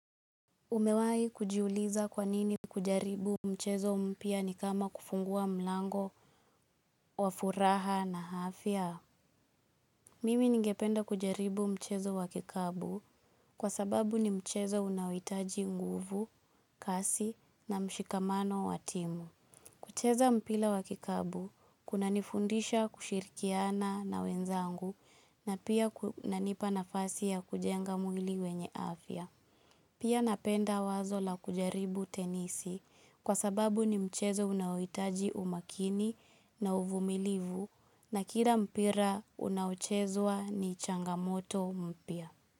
Umewai kujiuliza kwanini kujaribu mchezo mpya ni kama kufungua mlango wa furaha na afya? Mimi ningependa kujaribu mchezo wa kikapu kwa sababu ni mchezo unaohitaji nguvu, kasi na mshikamano wa timu. Kucheza mpira wa kikapu kuna nifundisha kushirikiana na wenzangu na pia kunanipa nafasi ya kujenga mwili wenye hafya. Pia napenda wazo la kujaribu tenisi kwa sababu ni mchezo unaohitaji umakini na uvumilivu na kila mpira unaochezwa ni changamoto mpya.